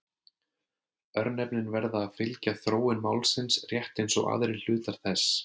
Örnefnin verða að fylgja þróun málsins rétt eins og aðrir hlutar þess.